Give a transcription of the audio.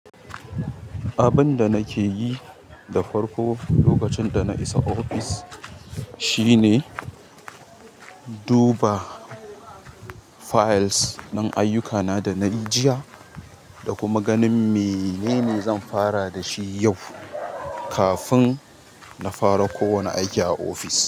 Abin da nake yi da farko lokacin da na isa ofis shine duba files na ayyukana da nayi jiya da kuma ganin menene zan fara da shi yau kafin na fara ko wane aiki a ofis.